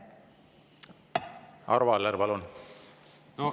Arvo Aller, palun!